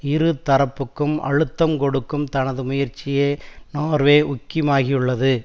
இரு தரப்புக்கும் அழுத்தம் கொடுக்கும் தனது முயற்சியை நோர்வே உக்கிமாகியுள்ளது